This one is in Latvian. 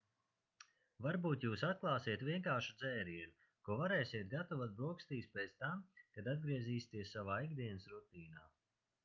varbūt jūs atklāsiet vienkāršu dzērienu ko varēsiet gatavot brokastīs pēc tam kad atgriezīsieties savā ikdienas rutīnā